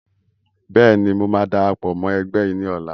Bẹ́ẹ̀ni, mo máa darapọ̀ mọ́ ẹgbẹ́ yìí ni ọ̀la.